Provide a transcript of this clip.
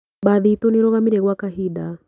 Mbathi itũ nĩirarũgamire gwa kahinda.